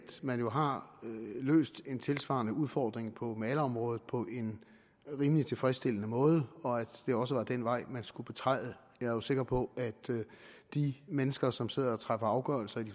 man jo har løst en tilsvarende udfordring på malerområdet på en rimelig tilfredsstillende måde og at det også var den vej man skulle betræde jeg er jo sikker på at de mennesker som sidder og træffer afgørelser i de